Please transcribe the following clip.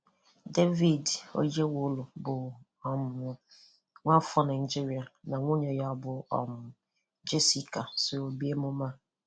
David Oyelowo bụ um nwa-afọ Naịjíríà na nwunye bụ um Jessica sòrò bịà emùmè a.